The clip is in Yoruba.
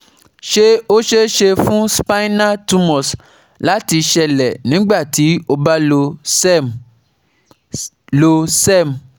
se o ṣee ṣe fun spinal tumors láti ṣeélẹ̀ nígbà tí o ba lo SERM? lo SERM?